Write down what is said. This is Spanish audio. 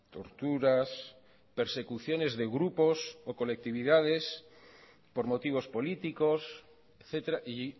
torturas persecuciones de grupos o colectividades por motivos políticos etcétera y